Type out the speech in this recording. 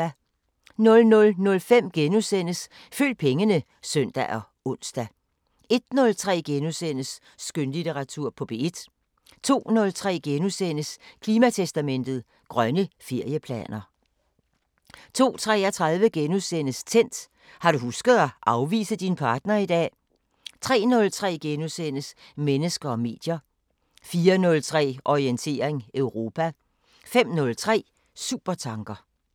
00:05: Følg pengene *(søn og ons) 01:03: Skønlitteratur på P1 * 02:03: Klimatestamentet: Grønne ferieplaner * 02:33: Tændt: Har du husket at afvise din partner i dag? * 03:03: Mennesker og medier * 04:03: Orientering Europa 05:03: Supertanker